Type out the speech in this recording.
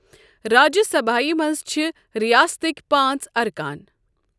راجیہٕ سبھایہ منٛز چھِ رِیاستٕکۍ پانٛژ ارکان۔